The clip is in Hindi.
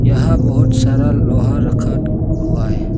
यहां बहुत सारा लोहा रखा हुआ है।